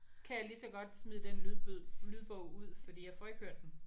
Kan jeg lige så godt smide den lydbyd lydbog ud fordi jeg får ikke hørt den